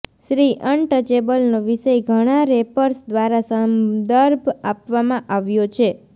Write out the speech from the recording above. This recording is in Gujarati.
શ્રી અનટચેબલનો વિષય ઘણા રેપર્સ દ્વારા સંદર્ભ આપવામાં આવ્યો છે